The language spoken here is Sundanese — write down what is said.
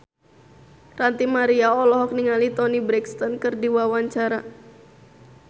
Ranty Maria olohok ningali Toni Brexton keur diwawancara